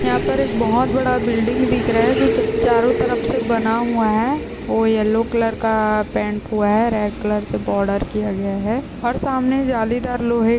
यहा पर एक बहुत बड़ा बिल्डिंग दिख रहा है जो चा चारो तरफ से बना हुआ है। वो येल्लो कलर का पेंट हुआ है। रेड कलर से बार्डर किया गया है और सामने जालीदार लोहे--